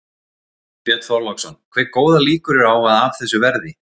Björn Þorláksson: Hve góðar líkur eru á að af þessu verði?